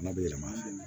Bana bɛ yɛlɛma